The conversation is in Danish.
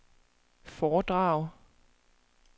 foredrag